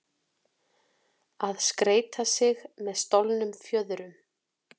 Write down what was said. Að skreyta sig með stolnum fjöðrum